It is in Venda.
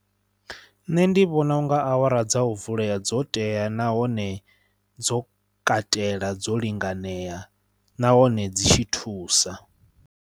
Nṋe ndi vhona u nga awara dza u vulea dzo tea nahone dzo katela dzo linganea nahone dzi tshi thusa.